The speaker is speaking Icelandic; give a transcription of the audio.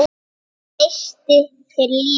Neisti fyrir lífinu.